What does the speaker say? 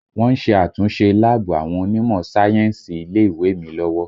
Wọ́n ń ṣe àtúnṣe láàbù àwọn onímọ̀ sáyẹ́ǹsì ilé ìwé mi lọ́wọ́